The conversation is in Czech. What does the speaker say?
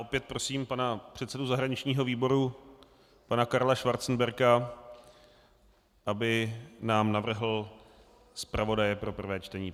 Opět prosím pana předsedu zahraničního výboru pana Karla Schwarzenberga, aby nám navrhl zpravodaje pro prvé čtení.